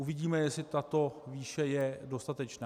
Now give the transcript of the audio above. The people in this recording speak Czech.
Uvidíme, jestli tato výše je dostatečná.